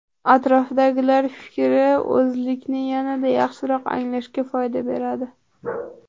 Atrofdagilar fikri o‘zlikni yanada yaxshiroq anglashga foyda beradi.